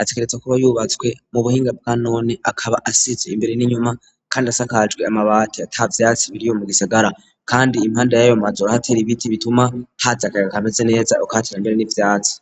ategerezwa kuba yubatswe mu buhinga bwanone akaba asizwe imbere n'inyuma kandi asakajwe amabati atavyatsi biriyo mu gisigara kandi impande y'ayo mazu barahateye ibiti bituma haza akayaga ka meze neza ukahatera mbere n'ivyatsi.